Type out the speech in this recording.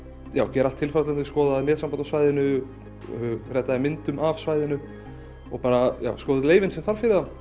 gera allt tilfallandi skoða netsamband á svæðinu redda þeim myndum af svæðinu skoða leyfin sem þarf fyrir þá